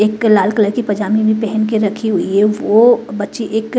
एक लाल कलर की पजामी भी पहन के रखी हुई है वो बच्ची एक--